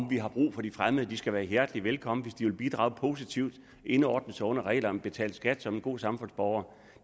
vi har brug for de fremmede at de skal være hjertelig velkommen hvis de vil bidrage positivt og indordne sig under reglerne og betale skat som gode samfundsborgere